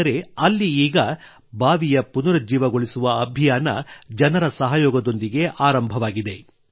ಆದರೆ ಅಲ್ಲಿ ಈಗ ಈ ಬಾವಿಯ ಪುನರುಜ್ಜೀವಗೊಳಿಸುವ ಅಭಿಯಾನ ಜನರ ಸಹಯೋಗದೊಂದಿಗೆ ಆರಂಭವಾಗಿದೆ